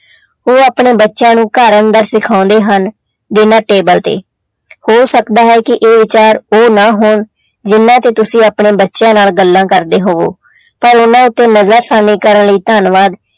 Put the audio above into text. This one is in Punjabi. ਉਹ ਆਪਣੇ ਬੱਚਿਆਂ ਨੂੂੰ ਦਾ ਸਿਖਾਉਂਦੇ ਹਨ ਬਿਨਾਂ table ਤੇ ਹੋ ਸਕਦਾ ਹੈ ਕਿ ਇਹ ਵਿਚਾਰ ਉਹ ਨਾ ਹੋਣ ਜਿਹਨਾਂ ਤੋਂ ਤੁਸੀਂ ਆਪਣੇ ਬੱਚਿਆਂ ਨਾਲ ਗੱਲਾਂ ਕਰਦੇ ਹੋਵੋ ਪਰ ਇਹਨਾਂ ਉੱਤੇ ਕਰਨ ਲਈ ਧੰਨਵਾਦ।